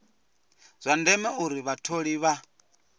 zwa ndeme uri vhatholi vha